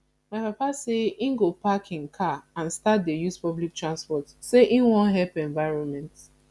my papa say im go park im car and start to dey use public transport say im wan help environment